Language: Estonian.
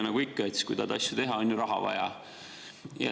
Nagu ikka, kui tahad asju teha, on ju raha vaja.